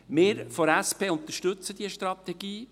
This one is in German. Wir von der SP unterstützen diese Strategie.